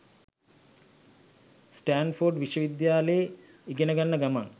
Stanford විශ්වවිද්‍යාලෙ ඉගෙන ගන්න ගමන්.